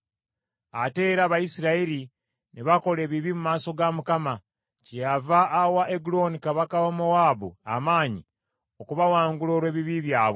Ate era Abayisirayiri ne bakola ebibi mu maaso ga Mukama ; kyeyava awa Eguloni kabaka wa Mowaabu amaanyi okubawangula olw’ebibi byabwe.